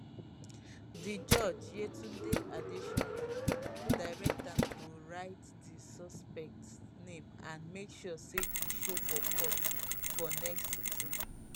di judge yetunde adesanya direct am to write di suspect name and make sure say e show for court for next sitting